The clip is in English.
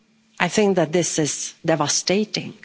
I think that this is devastating.